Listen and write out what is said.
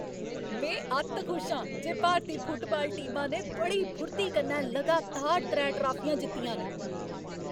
में अत्त खुश आं जे भारती फुटबाल टीमा ने बड़ी फुर्ती कन्नै लगातार त्रै ट्राफियां जित्तियां न ।